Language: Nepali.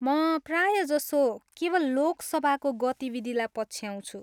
म प्रायजसो केवल लोक सभाको गतिविधिलाई पछ्याउँछु।